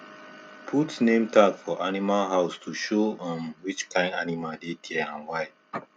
put name tag for animal house to show um which kind animal dey there and why